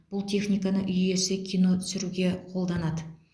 бұл техниканы үй иесі кино түсіруге қолданады